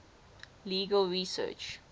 legal research